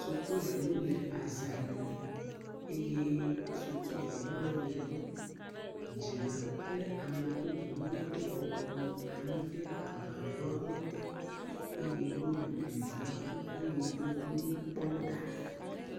Sukuviwo le azã dum, eye sukuviawo le ɣe dum. Dzilawo kple ame bubuwo wo bɔbɔnɔ anyi ɖe agbaɖɔawo te eye wo le ɖeviawo ƒe me duduwo kpɔm ɖa.